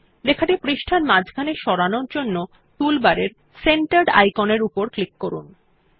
lলেখাটি পৃষ্টার মাঝখানে সরানোর জন্য টুলবারের সেন্টার্ড আইকনের উপর ক্লিক করুন